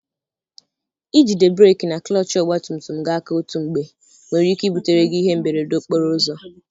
Ijide breki na klọchị ọgba tum tum gị aka otú mgbe nwere ike ibutere gị ihe mberede okporo ụzọ.